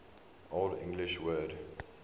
old english word